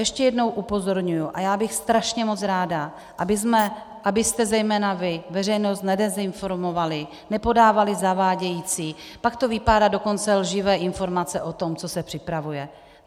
Ještě jednou upozorňuji, a já bych strašně moc ráda, abyste zejména vy veřejnost nedezinformovali, nepodávali zavádějící, pak to vypadá, dokonce lživé informace o tom, co se připravuje.